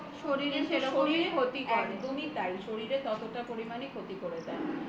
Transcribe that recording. কিন্তু শরীরে ততটা পরিমাণে ক্ষতি করে দেয়